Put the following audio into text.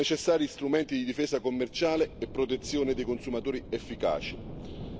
Sono necessari strumenti di difesa commerciale e protezione dei consumatori efficaci.